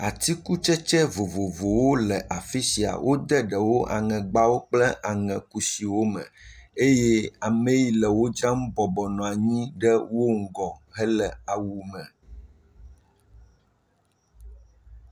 Atikutsetse vovovowo le afi sia wode ɖewo aŋegbawo kple aŋekusiwo me eye amee le wodzram bɔbɔnɔ anyi ɖe wo ŋgɔ hele awu me.